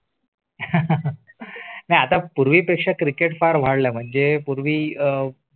आता पूर्वी पेक्षा Cricket फार वाढले म्हणजे पूर्वी अं